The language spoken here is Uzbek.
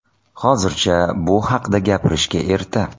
Hozircha bu haqida gapirishga erta.